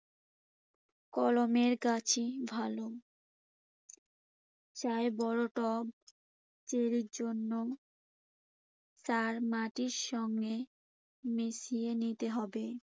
কলমের গাছই ভালো। চাই বড় টব চেরির জন্য। সার মাটির সঙ্গে মিশিয়ে নিতে হবে।